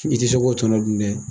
I ti se ko tɔnɔ dun dɛ